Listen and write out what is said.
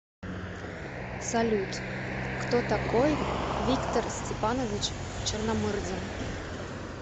салют кто такой виктор степанович черномырдин